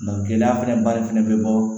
gɛlɛya fɛnɛ barikɛn be bɔɔ